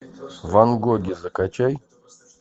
ван гоги закачай